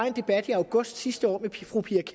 en debat i august sidste år med fru pia